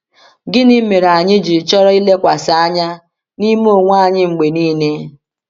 Gịnị mere anyị ji chọrọ ilekwasị anya n’ime onwe anyị mgbe niile?